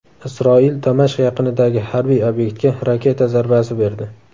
Isroil Damashq yaqinidagi harbiy obyektga raketa zarbasi berdi.